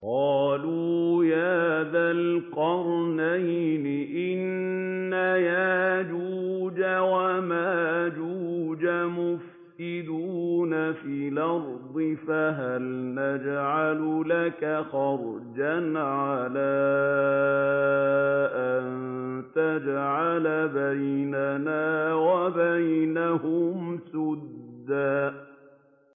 قَالُوا يَا ذَا الْقَرْنَيْنِ إِنَّ يَأْجُوجَ وَمَأْجُوجَ مُفْسِدُونَ فِي الْأَرْضِ فَهَلْ نَجْعَلُ لَكَ خَرْجًا عَلَىٰ أَن تَجْعَلَ بَيْنَنَا وَبَيْنَهُمْ سَدًّا